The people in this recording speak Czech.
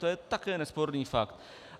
To je také nesporný fakt.